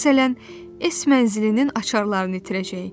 Məsələn, Es mənzilinin açarlarını itirəcək.